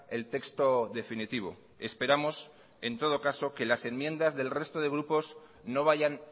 el texto definitivo esperamos en todo caso que las enmiendas del resto de grupos no vayan